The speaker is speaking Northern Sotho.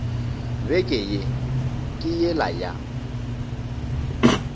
beke ye ke yela ya